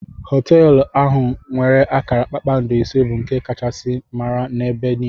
Hotelu ahụ nwere akara kpakpando ise bu nke Akachasi mara ebe niile.